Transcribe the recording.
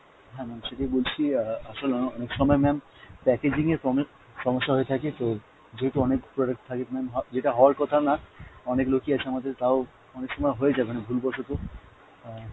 হ্যাঁ ma'am সেটাই বলছি, অ্যাঁ আসলে অনেক সময় ma'am packaging এর সমস্যা হয়ে থাকে তো যেহেতু অনেক product থাকে ma'am, হ~ যেটা হওয়ার কথাও না, অনেক লোকই আছে আমাদের তাও অনেক সময় হয়ে যায় মানে ভুল বশত অ্যাঁ।